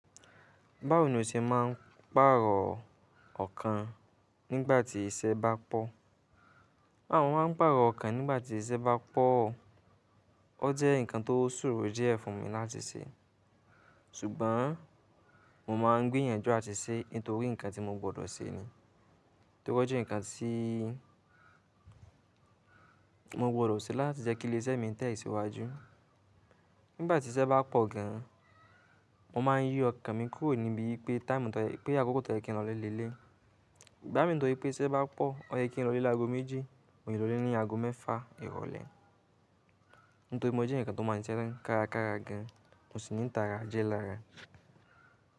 Báwo ni o ṣe máa ń pàrọ̀ ọkàn nígbàtí iṣẹ́ bá pọ̀? À mo máa ń pàrọ̀ ọkàn nígbàtí iṣẹ́ bá pọ̀, ó jẹ́ nǹkan tó soró díẹ̀ fún mi láti ṣe. Ṣùgbọ́n mo máa ń gbìyànjú àti ṣe nítorí nǹkan tí mo gbọdọ̀ ṣe ni. Nítorí ó jẹ́ nǹkan tí mo gbọdọ̀ ṣe láti jẹ́ kí ilé iṣẹ́ mi tẹ̀síwájú. Ṣùgbọ́n mo máa ń gbìyànjú àti ṣe nítorí nǹkan tí mo gbọdọ̀ ṣe ni. Ìgbà mi tó ṣe pé tí iṣẹ́ bá pọ̀, ọyẹ́ kí n lọ ilé lágo méjì, mo lè lọ ilé ní ago mẹ́fa ìrọ̀lẹ́. Nítorí mo jẹ́ èèyàn kan tó máa ń ṣiṣẹ́ kárakára gan an, mo sì ní ìtara ajẹ́ lára.